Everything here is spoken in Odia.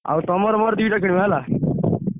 ଆଉ ତମର ମୋର ଦିଟା କିଣିବା ହେଲା?